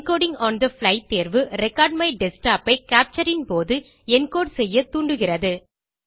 encoding on the fly தேர்வு record my desktop ஐ capture ன் போது என்கோடு செய்ய தூண்டுகிறது